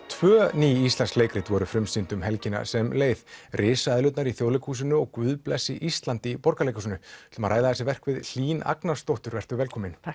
tvö ný íslensk leikrit voru frumsýnd helgina sem leið risaeðlurnar í Þjóðleikhúsinu og Guð blessi Ísland í Borgarleikhúsinu ætlum að ræða þessi verk við Hlín Agnarsdóttur vertu velkomin